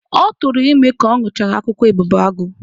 Ọ tụrụ ime ka ọ ñụchara akwụkwọ ebubeagụ.